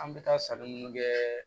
An bɛ taa sanni minnu kɛ